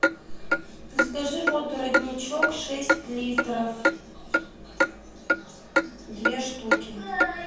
закажи воду родничок шесть литров две штуки